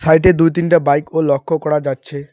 সাইটে -এ দুই তিনটা বাইক -ও লক্ষ করা যাচ্ছে।